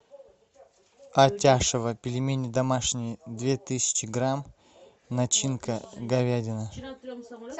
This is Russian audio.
атяшево пельмени домашние две тысячи грамм начинка говядина